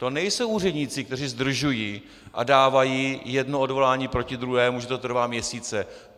To nejsou úředníci, kteří zdržují a dávají jedno odvolání proti druhému, že to trvá měsíce.